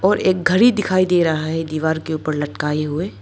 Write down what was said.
और एक घड़ी दिखाई दे रहा है दीवार के ऊपर लटकाए हुए।